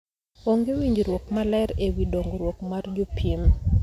Onge winjruok maleer ewii dongruok mar jopiem.